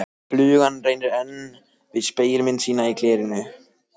Flugan reynir enn við spegilmynd sína í glerinu.